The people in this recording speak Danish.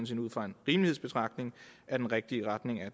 set ud fra en rimelighedsbetragtning er den rigtige retning at